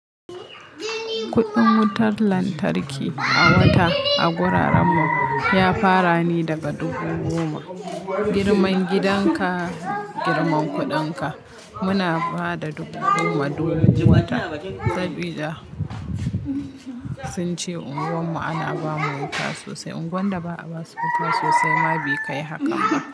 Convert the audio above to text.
Kuɗin wutar lantarki a wata a wurin mu ya fara ne daga dubu goma. Girman gidan ka, girman kuɗin ka. Muna ba da dubu goma duk wata. Saboda sun ce unguwar mu ana ba mu wuta sosai. Unguwan da ba a ba su wuta sosai ma bai kai haka ba.